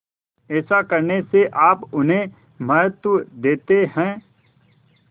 ऐसा करने से आप उन्हें महत्व देते हैं